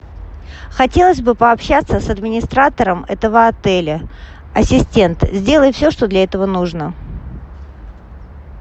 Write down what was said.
хотелось бы пообщаться с администратором этого отеля ассистент сделай все что для этого нужно